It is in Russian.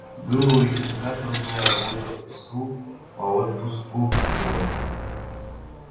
была у лесника трудная работа в лесу по отпуску дров